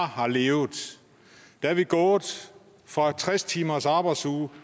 har levet er vi gået fra en tres timers arbejdsuge